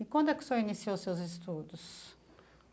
E quando é que o senhor iniciou os seus estudos?